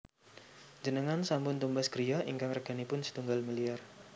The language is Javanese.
Njenengan sampun tumbas griya ingkang reganipun setunggal miliar